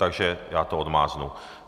Takže já to odmáznu.